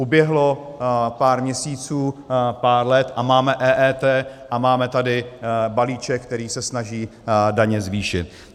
Uběhlo pár měsíců, pár let, a máme EET a máme tady balíček, který se snaží daně zvýšit.